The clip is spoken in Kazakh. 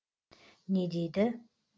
не дейді